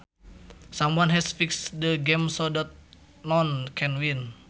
Someone has fixed the game so that noone can win